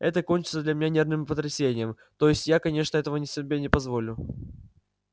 это кончится для меня нервным потрясением то есть я конечно этого себе не позволю